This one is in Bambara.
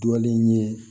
Dɔlen ye